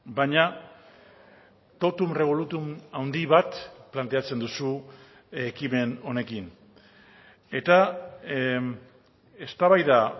baina totum revolutum handi bat planteatzen duzu ekimen honekin eta eztabaida